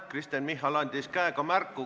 Kristen Michal andis käega märku.